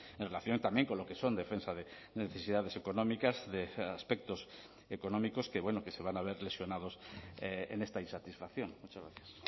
en relación también con lo que son defensa de necesidades económicas de aspectos económicos que bueno que se van a ver lesionados en esta insatisfacción muchas gracias